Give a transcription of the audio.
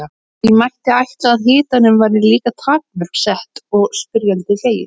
Því mætti ætla að hitanum væri líka takmörk sett eins og spyrjandi segir.